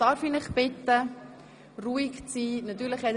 Darf ich Sie bitten, ruhig zu sein?